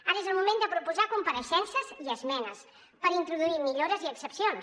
ara és el moment de proposar compareixences i esmenes per introduir millores i excepcions